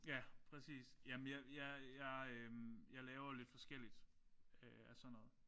Ja præcis. Jamen jeg jeg jeg øh jeg laver lidt forskelligt af sådan noget